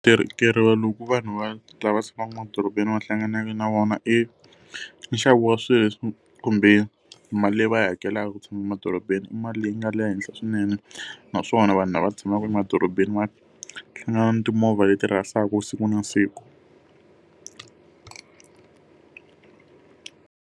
loku vanhu va lava tshamaka emadorobeni va hlanganaka na wona i, i nxavo wa swilo leswi kumbe mali leyi va yi hakelaka ku tshama emadorobeni i mali leyi nga le henhla swinene. Naswona vanhu lava tshamaka emadorobeni va hlangana na timovha leti rhasaka siku na siku ku.